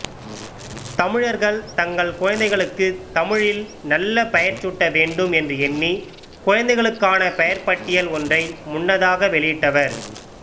தமிழர்கள் தங்கள் குழந்தைகளுக்குத் தமிழில் நல்ல பெயர்சூட்ட வேண்டும் என்று எண்ணி குழந்தைகளுக்கான பெயர்ப்பட்டியல் ஒன்றை முன்னதாக வெளியிட்டவர்